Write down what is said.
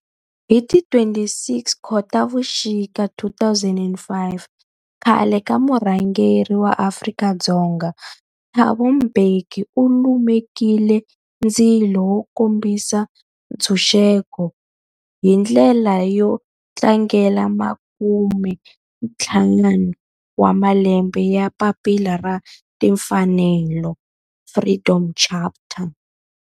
Hi ti 26 Khotavuxika 2005 khale ka murhangeri wa Afrika-Dzonga Thabo Mbeki u lumekile ndzilo wo kombisa ntshuxeko, hi ndlela yo tlangela makumentlhanu wa malembe ya papila ra timfanelo, Freedom Charter.